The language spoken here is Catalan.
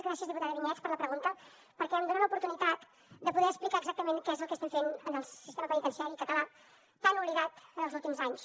gràcies diputada vinyets per la pregunta perquè em dona l’oportunitat de poder explicar exactament què és el que estem fent en el sistema penitenciari català tan oblidat en els últims anys